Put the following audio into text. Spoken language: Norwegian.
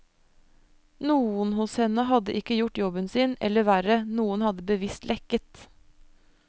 Noen hos henne hadde ikke gjort jobben sin, eller verre, noen hadde bevisst lekket.